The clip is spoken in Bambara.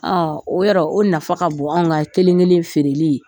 Aa o yɔrɔ o nafa ka bon an ka kelen kelen feereli ye.